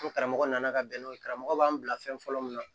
Ni karamɔgɔ nana ka bɛn n'o ye karamɔgɔ b'an bila fɛn fɔlɔ min na